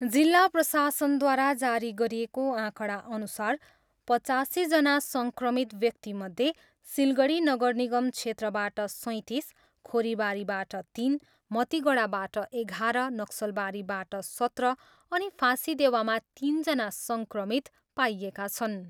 जिल्ला प्रशासनद्वारा जारी गरिएको आँकडाअनुसार पचासीजना सङ्क्रमित व्यक्तिमध्ये सिलगढी नगरनिगम क्षेत्रबाट सैँतिस, खोरीबारीबाट तिन, मतिगढाबाट एघार, नक्सलबारीबाट सत्र अनि फाँसीदेवामा तिनजना सङ्क्रमित पाइएका छन्।